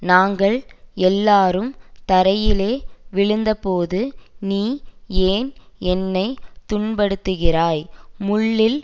நாங்கள் எல்லாரும் தரையிலே விழுந்தபோது நீ ஏன் என்னை துன்பப்படுத்துகிறாய் முள்ளில்